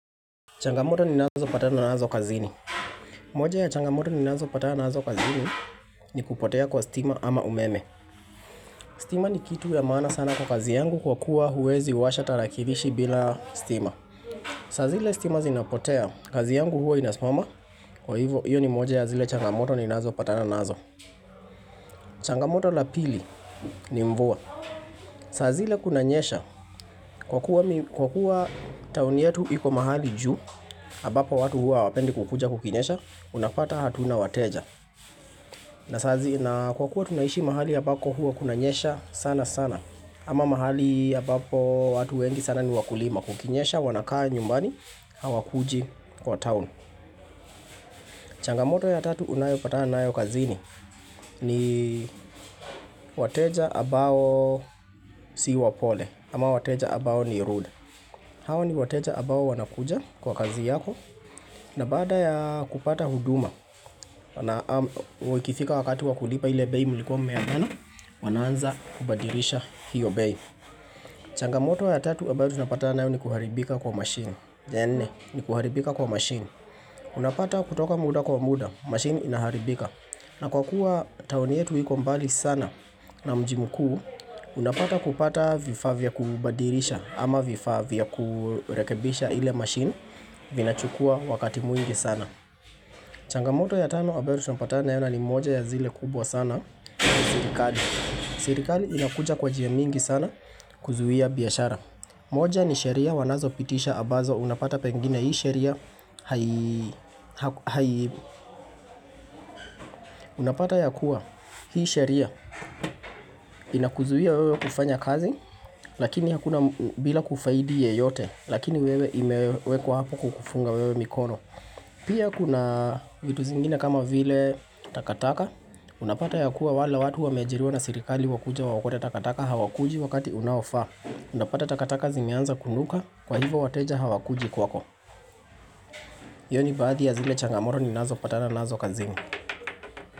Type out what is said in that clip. Changamoto ni nazo pata na nazo kazini, moja ya changamoto ni nazo pata na nazo kazini ni kupotea kwa stima ama umeme stima ni kitu ya maana sana kwa kazi yangu Kwa kuwa huwezi washa tarakirishi bila stima saa zile stima zinapotea kazi yangu huwa inasimama Kwa hivo iyo ni moja ya zile changamoto ninazo patana nazo changamoto la pili ni mvua saa zile kunanyesha k kwa kuwa kwa kuwa tauni yetu iko mahali juu ambapo watu hua hawapendi kukuja kukinyesha unapata hatuna wateja na kwa kuwa tunaishi mahali ambako huwa kuna nyesha sana sana ama mahali ya ambapo watu wengi sana ni wakulima kukinyesha wanakaa nyumbani Hawa kuji kwa town changamoto ya tatu unayopatana nayo kazini ni wateja ambao si wapole ama wateja ambao ni rude. Hao ni wateja ambao wanakuja kwa kazi yako na bada ya kupata huduma na ikifika wakati wakulipa ile bei mlikuwa mmeagana wanaanza kubadirisha hiyo bei changamoto ya tatu ambayo tunapata nayo ni kuharibika kwa machine ya nne, ni kuharibika kwa machine Unapata kutoka muda kwa muda, machine inaharibika. Na kwa kuwa taoni yetu iko mbali sana na mji mkuu Unapata kupata vifaa vya kubadilisha ama vifaa vya kurekebisha ile machine vinachukua wakati mwingi sana changamoto ya tano ambayo tunapata nayo na moja ya zile kubwa sana Serikali Serikali inakuja kwa njia mingi sana kuzuia biashara. Moja ni sheria wanazo pitisha ambazo unapata pengine hii sheria. Unapata ya kuwa hii sheria inakuzuia wewe kufanya kazi lakini hakuna bila kufaidi yeyote lakini wewe imewekwa hapo kukufunga wewe mikono. Pia kuna vitu zingine kama vile takataka Unapata ya kuwa wale watu wameajira na sirikali wakuje waokote takataka hawakuji wakati unaofaa Unapata takataka zimeanza kunuka kwa hivo wateja hawakuji kwako hiyo ni baadhi ya zile changamoto ni nazo patana nazo kazini.